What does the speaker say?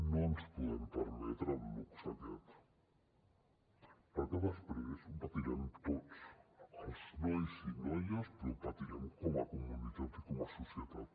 no ens podem permetre el luxe aquest perquè després ho patirem tots els nois i noies però ho patirem com a comunitat i com a societat